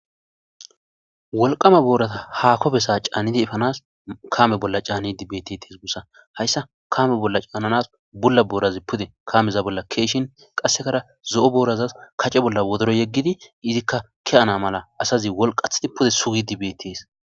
Wolqama boorata ha kofesa caannidi ifanas kame bolla caanni dibettes gussa hayssa kame bolla caannanas bulla boorazi pude kameza bolla keeshin qassekara zo7o boorazas kace bolla wodoro yeggidi izikka ki7ana mala asazi wolqathidi pude sugi dibetees.